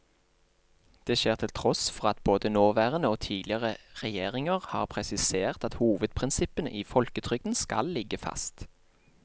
Det skjer til tross for at både nåværende og tidligere regjeringer har presisert at hovedprinsippene i folketrygden skal ligge fast.